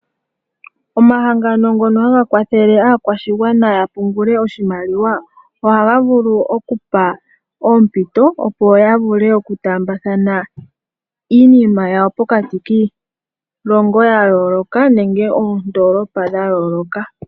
Omahangano ngono haga kwathele aakwashigwana yapungule oshimaliwa, ohaga vulu okupa oompito opo ya vule okutaambathana iinima yawo pokati kiilongo ya yooloka nenge oondolopa dha yooloka.